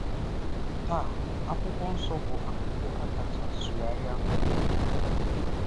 Taa, Akwụkwọ Nsọ bụ akwụkwọ a kacha sụgharịa n’ụwa.